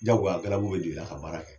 Jagoya galabu bɛ don i la ka baara kɛ.